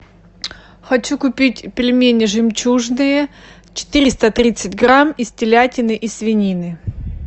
хочу купить пельмени жемчужные четыреста тридцать грамм из телятины и свинины